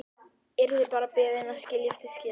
Yrði bara beðin að skilja eftir skilaboð.